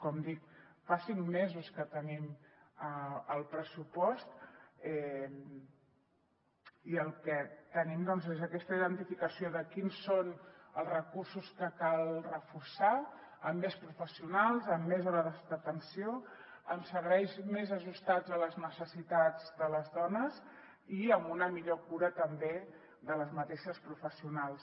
com dic fa cinc mesos que tenim el pressupost i el que tenim doncs és aquesta identificació de quins són els recursos que cal reforçar amb més professionals amb més hores d’atenció amb serveis més ajustats a les necessitats de les dones i amb una millor cura també de les mateixes professionals